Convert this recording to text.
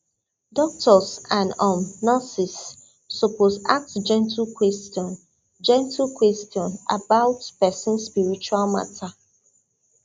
doctors and um nurses suppose ask gentle question gentle question about person spiritual matter